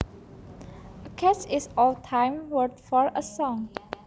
A catch is old time word for a song